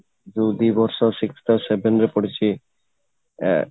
କୋଉ ଦି ବର୍ଷ sixth ଆଉ seventh ରେ ପଢିଛି ଆଁ